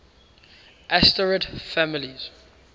asterid families